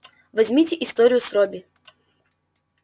возьмите историю с робби